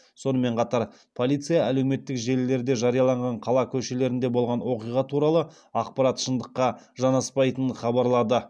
сонымен қатар полиция әлеуметтік желілерде жарияланған қала көшелерінде болған оқиға туралы ақпарат шындыққа жанаспайтынын хабарлады